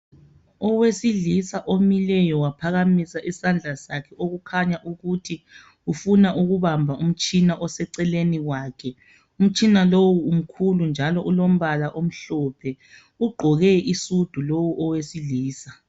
Owesilisa omileyo waphakamisa isandla sakhe, okukhanya ukuthi ufuna ukubamba umtshina oseceleni kwakhe. Umtshina lowu mkhulu njalo ulombala omhlophe. Ugqoke isudu lowu owesilisa.